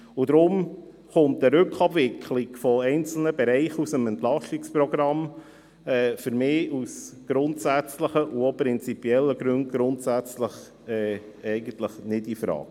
Deshalb kommt eine Rückabwicklung von einzelnen Bereichen aus dem Entlastungsprogramm für mich grundsätzlich und auch aus prinzipiellen Gründen eigentlich nicht infrage.